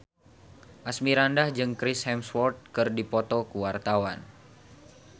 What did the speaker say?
Asmirandah jeung Chris Hemsworth keur dipoto ku wartawan